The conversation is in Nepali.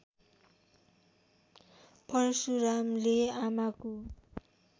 परशुरामले आमाको